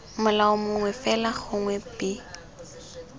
molao mongwe fela gongwe b